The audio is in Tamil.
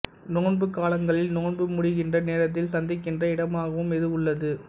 நோன்புக்காலங்களில் நோன்பு முடிகின்ற நேரத்தில் சந்திக்கின்ற இடமாகவும் இது உள்ளது